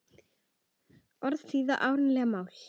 Orðið þýðir erlent mál.